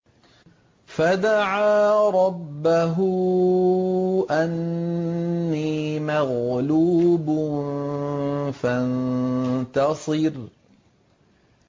فَدَعَا رَبَّهُ أَنِّي مَغْلُوبٌ فَانتَصِرْ